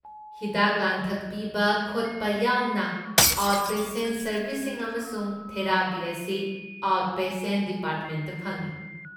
ꯍꯤꯗꯥꯛ ꯂꯥꯡꯊꯛ ꯄꯤꯕ ꯈꯣꯠꯄ ꯌꯥꯎꯅ ꯑꯥꯎꯠꯄꯦꯁꯦꯟ ꯁꯔꯕꯤꯁꯁꯤꯡ ꯑꯃꯁꯨꯡ ꯊꯦꯔꯥꯄꯤ ꯑꯁꯤ ꯑꯥꯎꯠꯄꯦꯁꯦꯟ ꯗꯤꯄꯥꯔꯠꯃꯦꯟꯗ ꯐꯪꯢ꯫